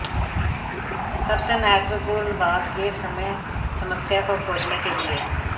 सबसे महत्वपूर्ण बात यह समय समस्या को खोजने के लिए